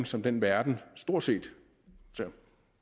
som den verden stort set